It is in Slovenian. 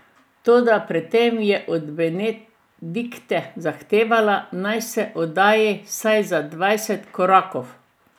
Toda pred tem je od Benedikte zahtevala, naj se oddalji vsaj za dvajset korakov.